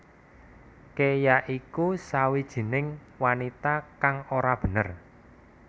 Ke ya iku sawijining wanita kang ora bener